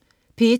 P1: